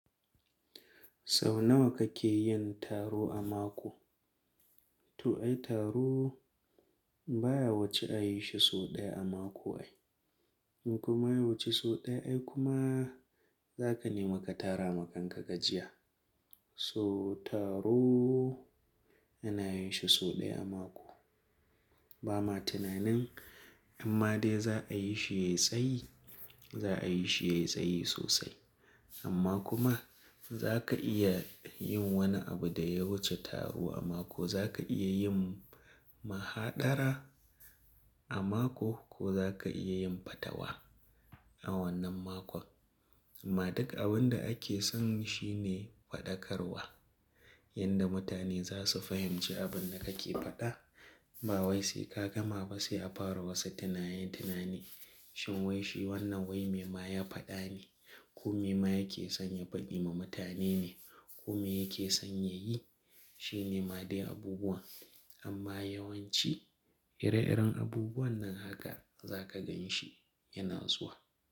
Sau nawa kake yin taro a mako? To ai taro baya wuce a yi shi sau ɗaya a mako ai. In kuma ya wuce sau ɗaya ai kuma za ka nemi ka tara makanka gajiya. So taro ana yin shi sau ɗaya a mako. Ba ma tunanin amma dai za a yi shi ya yi tsayi, za a yi shi ya yi tsayi sosai. Amma kuma za ka iya yin wani abu da ya wuce taro a mako, za ka iya yin mahaɗara a mako ko za ka iya yin fatawa a wannan makon. Amma duk abin da ake son shi ne faɗakarwa. Yanda mutane za su fahimci abin da kake faɗa. Ba wai sai ka gama ba sai a fara wasu tunanin tunani. Shin wai shi wannan wai me ma ya faɗa ne? Ko me ma yake son ya faɗi ma mutane ne? Ko me yake son ya yi? Shi ne ma dai abubuwan. Amma yawanci ire-iren abubuwan nan haka za ka gan shi yana zuwa.